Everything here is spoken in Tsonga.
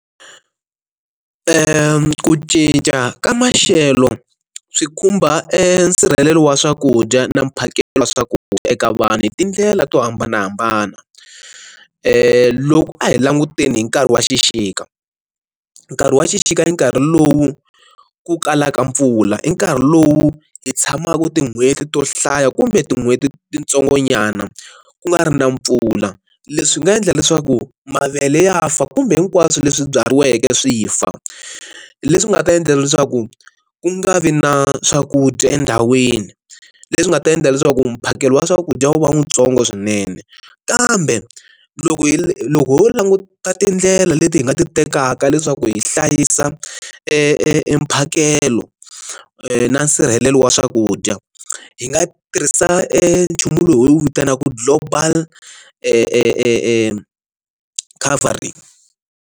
Ku cinca ka maxelo swi khumba e nsirhelelo wa swakudya na mphakelo wa swakudya eka vanhu hi tindlela to hambanahambana, loko a hi languteni hi nkarhi wa xixika nkarhi wa xixika i nkarhi lowu ku kalaka mpfula i nkarhi lowu hi tshamaku tin'hweti to hlaya kumbe tin'hweti tintsongonyana ku nga ri na mpfula, leswi nga endla leswaku mavele ya fa kumbe hinkwaswo leswi byariweke swi fa leswi nga ta endla leswaku ku nga vi na swakudya endhawini, leswi nga ta endla leswaku mphakelo wa swakudya wu va wuntsongo swinene kambe loko hi loko ho languta tindlela leti hi nga ti tekaka leswaku hi hlayisa e mphakelo na nsirhelelo wa swakudya, hi nga tirhisa e nchumu lowu hi wu vitanaka global e coverage.